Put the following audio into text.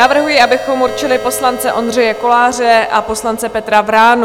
Navrhuji, abychom určili poslance Ondřeje Koláře a poslance Petra Vránu.